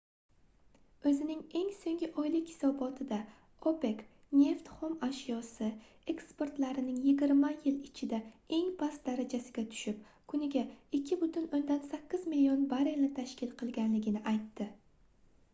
oʻzining eng soʻnggi oylik hisobotida opec neft xom ashyosi eksportlarining yigirma yil ichida eng past darajasiga tushib kuniga 2,8 million barrelni tashkil qilganligini aytdi